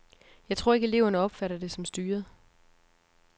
Jeg tror ikke, at eleverne opfatter det som styret.